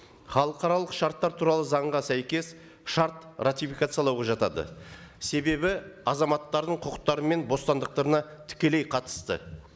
халықаралық шарттар туралы заңға сәйкес шарт ратификациялауға жатады себебі азаматтардың құқықтары мен бостандықтарына тікелей қатысты